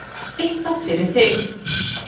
Eitthvað fyrir þig